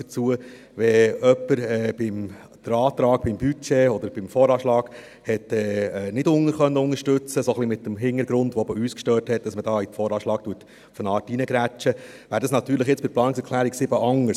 Wenn jemand den Antrag zum Budget oder zum VA nicht unterstützen konnte, ein wenig mit dem Hintergrund, der auch uns störte, dass man hier gewissermassen in den VA hineingrätscht, wäre das jetzt natürlich bei der Planungserklärung 7 anders.